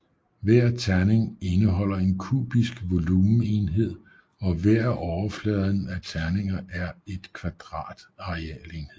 Hver terning indeholder en kubisk volumenenhed og hver af overfladerne af terninger er et kvadrat arealenhed